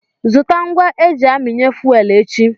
Zụta ngwa eji aminye fuwel echi.